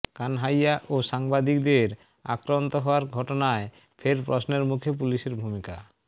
কানহাইয়া ও সাংবাদিকদের আক্রান্ত হওয়ার ঘটনায় ফের প্রশ্নের মুখে পুলিসের ভূমিকা